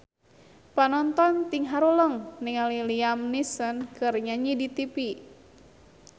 Panonton ting haruleng ningali Liam Neeson keur nyanyi di tipi